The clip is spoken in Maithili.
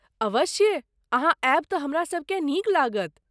अवश्य, अहाँ आयब तँ हमरासभकेँ नीक लागत।